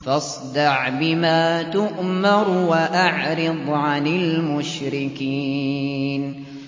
فَاصْدَعْ بِمَا تُؤْمَرُ وَأَعْرِضْ عَنِ الْمُشْرِكِينَ